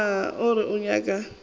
na o reng o nyaka